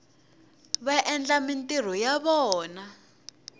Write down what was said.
va endla mintirho ya vona